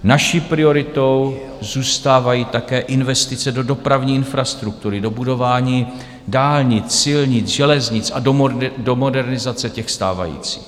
Naší prioritou zůstávají také investice do dopravní infrastruktury, do budování dálnic, silnic, železnic a do modernizace těch stávajících.